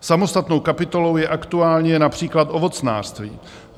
Samostatnou kapitolou je aktuálně například ovocnářství.